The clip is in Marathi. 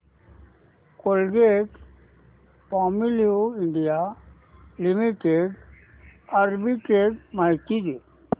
कोलगेटपामोलिव्ह इंडिया लिमिटेड आर्बिट्रेज माहिती दे